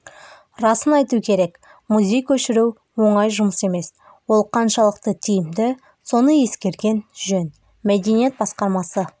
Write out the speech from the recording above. расын айту керек музей көшіру оңай жұмыс емес ол қаншалықты тиімді соны ескерген жөн мәдениет басқармасы